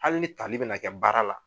Hali ni tali bɛ na kɛ baara la